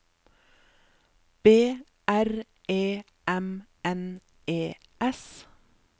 B R E M N E S